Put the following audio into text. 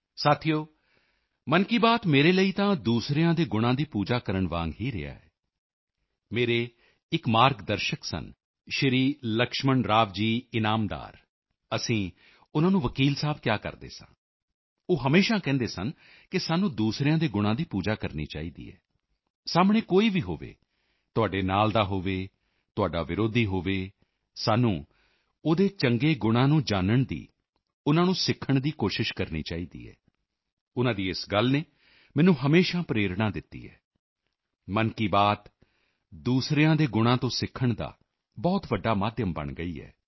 ਸਾਥੀਓ ਮਨ ਕੀ ਬਾਤ ਮੇਰੇ ਲਈ ਤਾਂ ਦੂਸਰਿਆਂ ਦੇ ਗੁਣਾਂ ਦੀ ਪੂਜਾ ਕਰਨ ਵਾਂਗ ਹੀ ਰਿਹਾ ਹੈ ਮੇਰੇ ਇਕ ਮਾਰਗਦਰਸ਼ਕ ਸਨ ਸ਼੍ਰੀ ਲਕਸ਼ਮਣ ਰਾਵ ਜੀ ਇਨਾਮਦਾਰ ਅਸੀਂ ਉਨ੍ਹਾਂ ਨੂੰ ਵਕੀਲ ਸਾਹਿਬ ਕਿਹਾ ਕਰਦੇ ਸੀ ਉਹ ਹਮੇਸ਼ਾ ਕਹਿੰਦੇ ਸਨ ਕਿ ਸਾਨੂੰ ਦੂਸਰਿਆਂ ਦੇ ਗੁਣਾਂ ਦੀ ਪੂਜਾ ਕਰਨੀ ਚਾਹੀਦੀ ਹੈ ਸਾਹਮਣੇ ਕੋਈ ਵੀ ਹੋਵੇ ਤੁਹਾਡੇ ਨਾਲ ਦਾ ਹੋਵੇ ਤੁਹਾਡਾ ਵਿਰੋਧੀ ਹੋਵੇ ਸਾਨੂੰ ਓਹਦੇ ਚੰਗੇ ਗੁਣਾਂ ਨੂੰ ਜਾਨਣ ਦੀ ਉਨ੍ਹਾਂ ਨੂੰ ਸਿੱਖਣ ਦੀ ਕੋਸ਼ਿਸ਼ ਕਰਨੀ ਚਾਹੀਦੀ ਹੈ ਉਨ੍ਹਾਂ ਦੀ ਇਸ ਗੱਲ ਨੇ ਮੈਨੂੰ ਹਮੇਸ਼ਾ ਪ੍ਰੇਰਣਾ ਦਿੱਤੀ ਹੈ ਮਨ ਕੀ ਬਾਤ ਦੂਸਰਿਆਂ ਦੇ ਗੁਣਾਂ ਤੋਂ ਸਿੱਖਣ ਦਾ ਬਹੁਤ ਵੱਡਾ ਮਾਧਿਅਮ ਬਣ ਗਈ ਹੈ